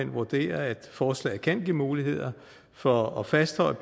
vurderer at forslaget kan give muligheder for at fastholde